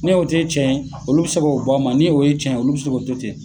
Ne'o tɛ tiɲɛ ye olu bɛ se k'o bɔ a ma , ni o ye tɛ tiɲɛ ye olu bi se k(o o a ma..